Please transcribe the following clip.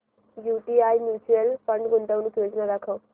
UTI mutual fund गुंतवणूक योजना दाखव